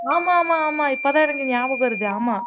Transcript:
ஆமா ஆமா ஆமா இப்பதான் எனக்கு ஞாபகம் வருது ஆமா